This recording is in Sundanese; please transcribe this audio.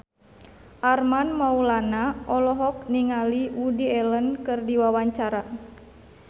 Armand Maulana olohok ningali Woody Allen keur diwawancara